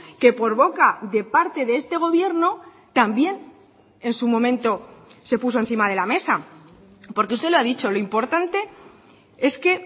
que por boca de parte de este gobierno también en su momento se puso encima de la mesa porque usted lo ha dicho lo importante es que